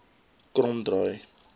kromdraai